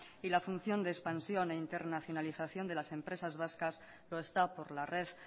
y la función de expansión e internacionalización de las empresas vascas lo está por la red